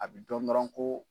A bi dɔn dɔrɔn ko